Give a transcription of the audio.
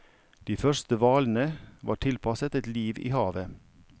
De første hvalene var tilpasset et liv i havet.